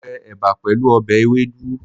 Mo je èbà pèlú obè ewédú